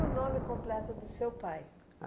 o nome completo do seu pai?